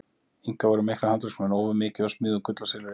Inkar voru miklir handverksmenn, ófu mikið og smíðuðu úr gulli og silfri.